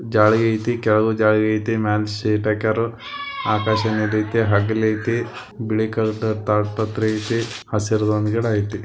ಜಾಲಗೆ ಐತಿ ಕೆಳಗೆ ಜಾಲಗೆ ಐತಿ ಮೇಲೆ ಸಿಟ್ಪಿ ಹಾಕೋರ್ ಆಕಾಶ ಇದೆ ಹಗಲ್ ಏತಿ ಬಿಳಿ ಕಲರ್ ತಡಪತ್ರ ಏತಿ ಹಸರ್ ಒಂದ್ ಗಿಡ ಏತಿ .